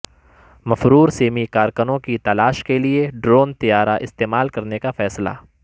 مفرور سیمی کارکنوں کی تلاش کے لئے ڈرون طیارہ استعمال کرنے کا فیصلہ